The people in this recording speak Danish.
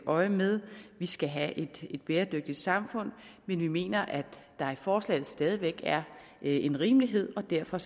øje med vi skal have et bæredygtigt samfund men vi mener at der i forslaget stadig væk er en rimelighed og derfor